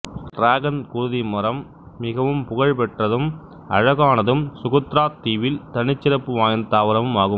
dragon குருதி மரம் மிகவும் புகழ் பெற்றதும் அழகானதும் சுகுத்திராத் தீவில் தனிச்சிறப்பு வாய்ந்த தாவரமும் ஆகும்